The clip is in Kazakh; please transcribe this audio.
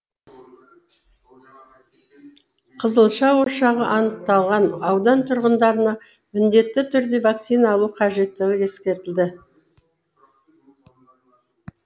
қызылша ошағы анықталған аудан тұрғындарына міндетті түрде вакцина алу қажеттігі ескертілді